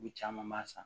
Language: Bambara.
U caman b'a san